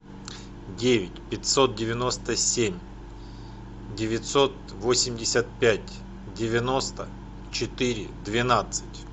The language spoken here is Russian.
девять пятьсот девяносто семь девятьсот восемьдесят пять девяносто четыре двенадцать